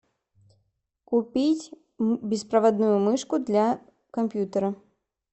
купить беспроводную мышку для компьютера